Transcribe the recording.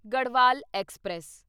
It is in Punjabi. ਗੜਵਾਲ ਐਕਸਪ੍ਰੈਸ